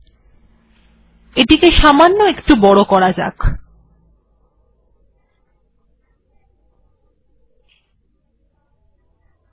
তাই এটিকে সামান্য কিছুটা বড় করা হল